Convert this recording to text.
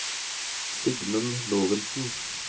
Sigmund Lorentzen